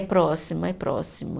Próximo, é próximo.